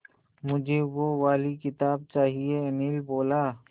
मुझे वो वाली किताब चाहिए अनिल बोला